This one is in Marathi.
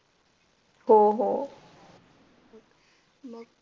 हो हो